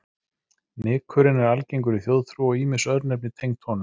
Nykurinn er algengur í þjóðtrú og ýmis örnefni tengd honum.